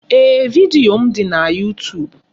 Ee, vidiyo m dị na YuuTuub.